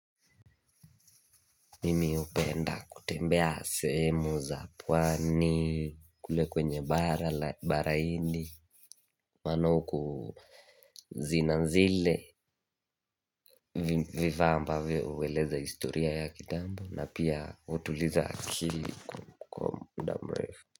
Mimi hupenda kutembea sehemu za pwani, kule kwenye bara, baraini, maana uku zinanzile, vivamba uweleza historia ya kitambo na pia utuliza akili kwa muda mrefu.